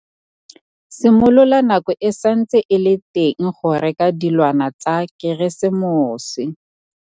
Simolola nako e santse e le teng go reka dilwana tsa Keresemose.